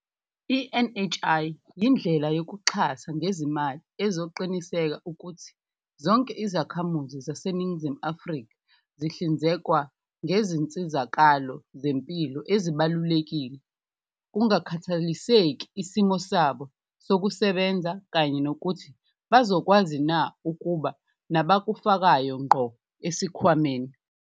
I-NHI yindlela yokuxhasa ngezimali ezoqinisekisa ukuthi zonke izakhamuzi zaseNingizimu Afrika zihlinzekwa ngezinsizakalo zempilo ezibalulekile, kungakhathaliseki isimo sabo sokusebenza kanye nokuthi bazokwazina ukuba nabakufakayo ngqo esikhwameni.